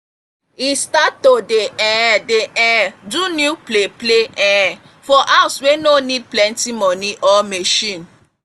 e start to dey um dey um do new play play um for houde wey no need plenty money or machine.